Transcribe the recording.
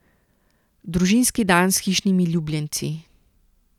Družinski dan s hišnimi ljubljenci.